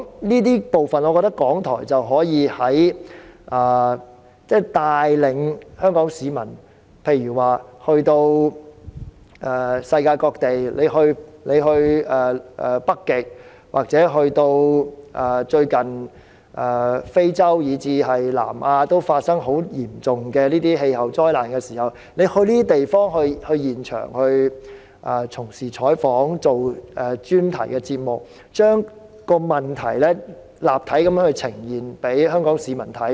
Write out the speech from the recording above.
這些部分看來，我認為港台可帶領香港市民走到世界各地，如北極、非洲，或是最近發生十分嚴重的氣候災難的南亞，透過前往這些地方現場採訪或製作專題節目，將問題立體地呈現於香港市民面前。